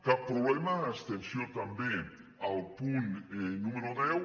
cap problema abstenció també al punt número deu